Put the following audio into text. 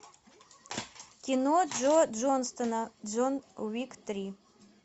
кино джо джонсона джон уик три